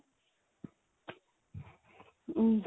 am